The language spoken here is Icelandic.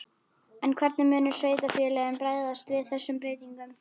En hvernig munu sveitarfélögin bregðast við þessum breytingum?